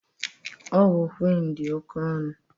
Ọgwụ Quinn dị oke ọnụ